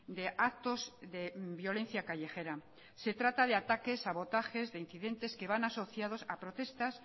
de actos de violencia callejera se trata de ataques sabotajes e incidentes que van asociados a protestas